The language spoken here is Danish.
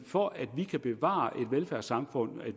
for at vi kan bevare et velfærdssamfund